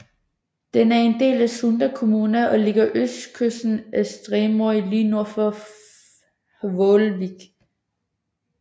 Den er en del af Sunda kommuna og ligger på østkysten af Streymoy lige nord for Hvalvík